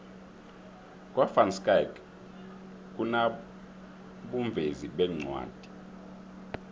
kwa van schaick kunabovezi beencwadi